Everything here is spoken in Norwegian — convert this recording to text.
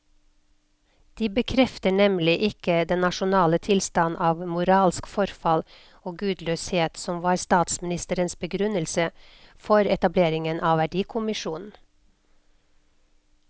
De bekrefter nemlig ikke den nasjonale tilstand av moralsk forfall og gudløshet som var statsministerens begrunnelse for etableringen av verdikommisjonen.